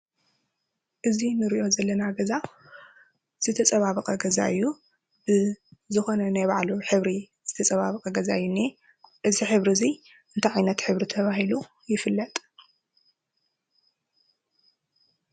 እዚ ንሪኦ ዘለና ገዛ ዝተፀባበቀ ገዛ እዩ። ዝኮነ ናይ ባዕሉ ሕብሪ ዝተፀባበቀ ገዛ እዩ ዝንሄ:: እዚ ሕብሪ እዙይ እንታይ ዓይነት ሕብሪ ተባሂሉ ይፍለጥ?